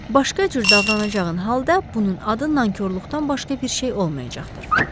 Başqa cür davranacağın halda bunun adı nankorluqdan başqa bir şey olmayacaqdır.